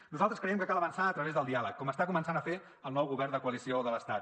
nosaltres creiem que cal avançar a través del diàleg com està començant a fer el nou govern de coalició de l’estat